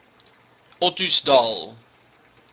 ottosdal